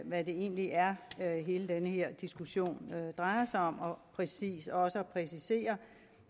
hvad det egentlig er hele den her diskussion drejer sig om og præcis også at præcisere